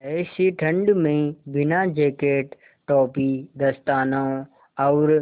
ऐसी ठण्ड में बिना जेकेट टोपी दस्तानों और